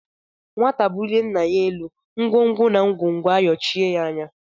Nwata bulie ńnà yá élú ngwongwo na ngwongwo ayochie ya anya.